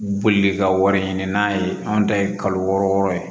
Bolili ka wari ɲini n'a ye anw ta ye kalo wɔɔrɔ wɔɔrɔ ye